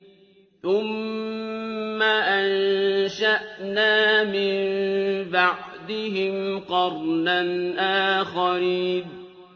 ثُمَّ أَنشَأْنَا مِن بَعْدِهِمْ قَرْنًا آخَرِينَ